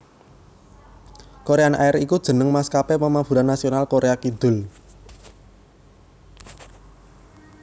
Korean Air aiku jeneng maskapé pamaburan nasional Koréa Kidul